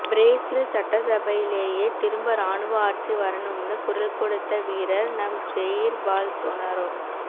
Brazil சட்டசபையிலேயே திரும்ப ராணுவ ஆட்சி வரணும்ன்னு குரல் கொடுத்த வீரர் நம் ஜெய்ர் பால்சொனாரோ